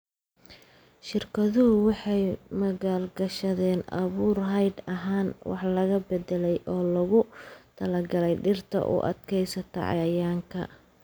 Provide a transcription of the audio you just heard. Shirkaduhu waxay maalgashadaan abuur hidde ahaan wax laga beddelay oo loogu talagalay dhirta u adkaysata cayayaanka.